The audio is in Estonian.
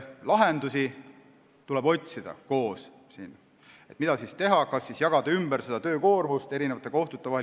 Lahendusi tuleb otsida koos, et mida siis teha, kas jagada töökoormust kohtute vahel ümber.